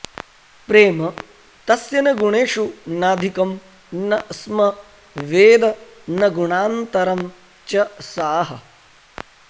प्रेम तस्य न गुणेषु नाधिकं न स्म वेद न गुणान्तरं च सः